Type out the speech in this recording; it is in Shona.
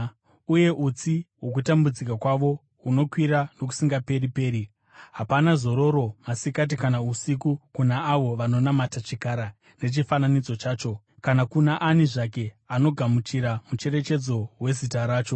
Uye utsi hwokutambudzika kwavo hunokwira nokusingaperi-peri. Hapana zororo masikati kana usiku kuna avo vanonamata chikara nechifananidzo chacho, kana kuna ani zvake anogamuchira mucherechedzo wezita racho.”